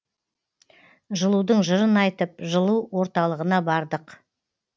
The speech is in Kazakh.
жылудың жырын айтып жылу орталығына бардық